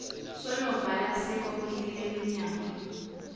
sonobhala sekomiti leminyango